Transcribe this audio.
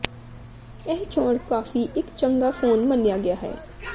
ਇਹ ਚੋਣ ਕਾਫ਼ੀ ਇੱਕ ਚੰਗਾ ਫੋਨ ਮੰਨਿਆ ਗਿਆ ਹੈ